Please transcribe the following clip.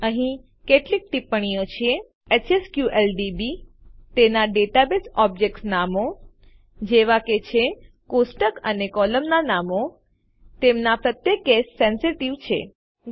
અહીં કેટલીક ટિપ્પણીઓ છે એચએસક્યુએલડીબી તેનાં ડેટાબેઝ ઓબ્જેક્ટ નામો જેવાં કે છે કોષ્ટક અને કોલમના નામો તેમનાં પ્રત્યે કેસ સેન્સીટીવ કેસ સંવેદનશીલ છે